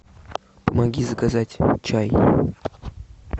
помоги заказать чай